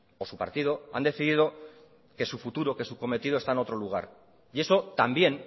o su partido han decidido que su futuro que su cometido está en otro lugar y eso también